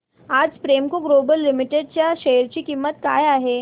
आज Premco global limited च्या share ची किंमत काय आहे